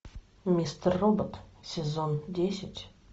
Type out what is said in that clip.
мистер робот сезон десять